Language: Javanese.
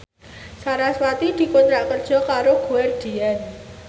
sarasvati dikontrak kerja karo Guardian